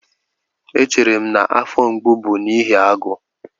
Echere m na afọ mgbu bụ n'ihi agụụ